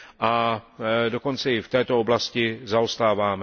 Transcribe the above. A dokonce i v této oblasti zaostáváme.